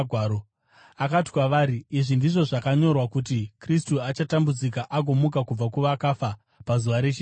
Akati kwavari, “Izvi ndizvo zvakanyorwa kuti: Kristu achatambudzika agomuka kubva kuvakafa pazuva rechitatu,